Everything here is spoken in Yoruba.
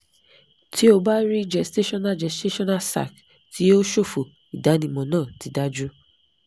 ti o ba rii gestational gestational sac ti o ṣofo idanimọ naa ti daju